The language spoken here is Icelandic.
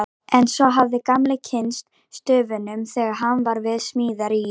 En svo hafði Gamli kynnst stöfunum þegar hann var við smíðar í